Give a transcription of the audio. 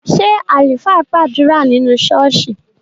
Ṣé àlùfáà gbàdúrà nínú ṣọ́ọ́ṣì?